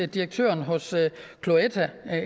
direktøren hos cloetta